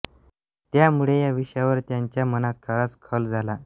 त्यामुळे या विषयावर त्यांच्या मनात बराच खल झाला